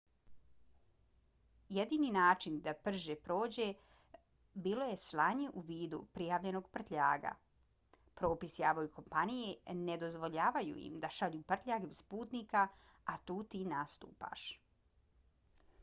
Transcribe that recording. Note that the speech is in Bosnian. jedini način da prže prođe bilo je slanje u vidu prijavljenog prtljaga. propisi aviokompanije ne dozvoljavaju im da šalju prtljag bez putnika a tu ti nastupaš